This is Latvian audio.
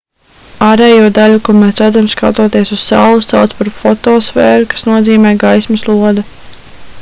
ārējo daļu ko mēs redzam skatoties uz sauli sauc par fotosfēru kas nozīmē gaismas lode